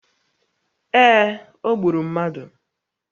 Ee, o gburu mmadụ